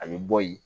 A bɛ bɔ yen